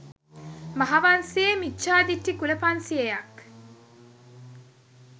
මහාවංසයේ මිච්ඡාදිට්ඨි කුල පන්සියයක්